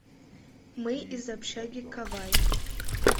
мы из общаги кавай